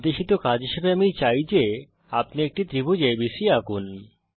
নির্দেশিত কাজ হিসেবে আমি চাই যে আপনি একটি ত্রিভুজ এবিসি আঁকুন